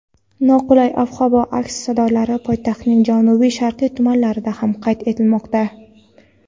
Noqulay ob-havo aks-sadolari poytaxtning janubi-sharqiy tumanlarida ham qayd etilmoqda.